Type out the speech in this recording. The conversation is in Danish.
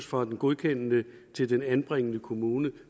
fra den godkendende til den anbringende kommune